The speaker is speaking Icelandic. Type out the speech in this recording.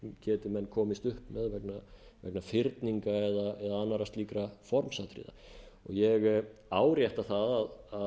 geti menn komist upp með vegna fyrninga eða annarra slíkra formsatriða ég árétta að